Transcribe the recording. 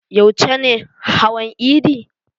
Yauce ne hawan idi?